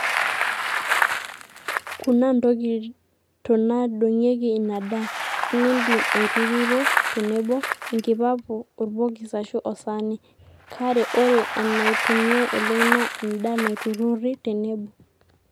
kuna nkoitonaadongieki ina daa, inindim aiturruro tenebo, enkipapu, orbokis aashu osaani, kare ore enaitumiai oleng naa enda naiturrurri tenebo